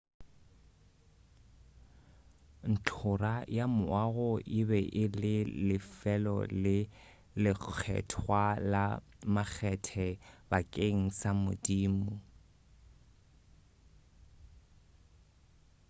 ntlhora ya moago e be e le lefelo le lekgethwa la makgethe bakeng sa modimo